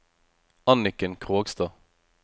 Anniken Krogstad